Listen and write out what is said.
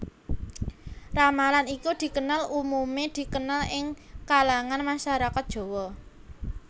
Ramalan iki dikenal umumé dikenal ing kalangan masyarakat Jawa